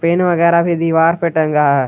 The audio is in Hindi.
पेन वगैरह भी दीवार पे टंगा है।